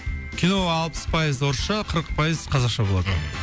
кино алпыз пайыз орысша қырық пайыз қазақша болады мхм